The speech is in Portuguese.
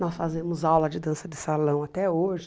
Nós fazemos aula de dança de salão até hoje.